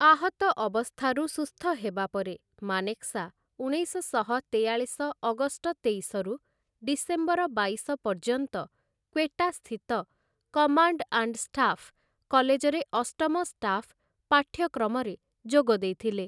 ଆହତ ଅବସ୍ଥାରୁ ସୁସ୍ଥ ହେବା ପରେ, ମାନେକ୍‌ଶା ଉଣେଇଶଶହ ତେୟାଳିଶ ଅଗଷ୍ଟ ତେଇଶରୁ ଡିସେମ୍ବର ବାଇଶ ପର୍ଯ୍ୟନ୍ତ କ୍ୱେଟା ସ୍ଥିତ 'କମାଣ୍ଡ ଆଣ୍ଡ ଷ୍ଟାଫ୍‌' କଲେଜରେ ଅଷ୍ଟମ ଷ୍ଟାଫ୍‌ ପାଠ୍ୟକ୍ରମରେ ଯୋଗଦେଇଥିଲେ ।